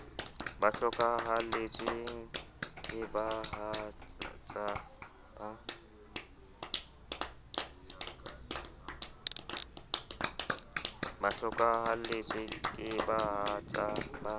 ba hlokahalletsweng ke bahatsa ba